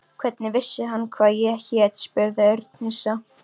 Hvernig vissi hann hvað ég hét? spurði Örn hissa.